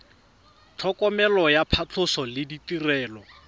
tlhokomelo ya phatlhoso le ditirelo